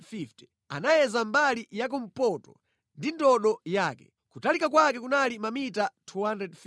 Anayeza mbali ya kumpoto ndi ndodo yake; kutalika kwake kunali mamita 250.